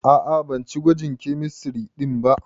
A'a, ban ci gwajin kemistiri ɗin ba.